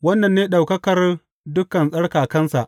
Wannan ne ɗaukakar dukan tsarkakansa.